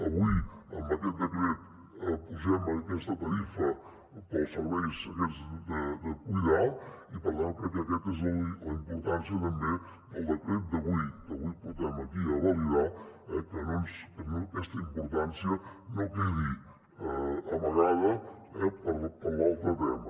avui amb aquest decret apugem aquesta tarifa per als serveis aquests de cuidar i per tant crec que aquesta és la importància també del decret d’avui que avui portem aquí a validar eh que aquesta importància no quedi amagada per l’altre tema